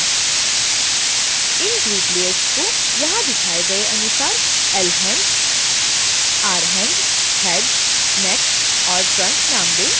इन group layers को यहाँ दिखाए गए अनुसार lhand rhand head neck और trunk नाम दें